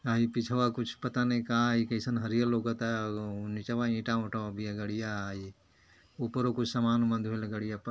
पिछवा कूछ पता नहीं का ई कइसन हरियल लऊकता। उ- नीचवां ईटा वीटा बिया गाड़िया ई- ऊपरो कुछ समान वमान गड़िया पर --